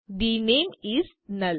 the નામે ઇસ null